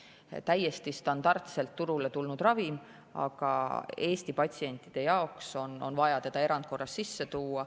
See on täiesti standardselt turule tulnud ravim, aga Eesti patsientide jaoks on vaja seda sisse tuua erandkorras.